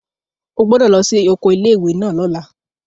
O gbọ́dọ̀ lọ sí oko ilé ìwé náà lọ́la!